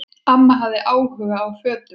Amma hafði áhuga á fötum.